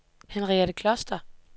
Henriette Kloster